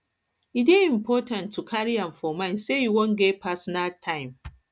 e dey important to carry am for mind sey you wan get wan get personal time